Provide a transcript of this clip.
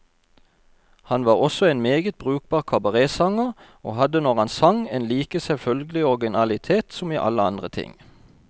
Han var også en meget brukbar kabaretsanger, og hadde, når han sang, en like selvfølgelig originalitet som i alle andre ting.